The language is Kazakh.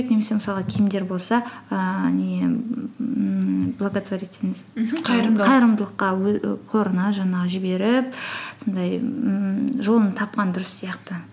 немесе мысалы киімдер болса ііі не ммм благотворительность қорына жаңағы жіберіп сондай ммм жолын тапқан дұрыс сияқты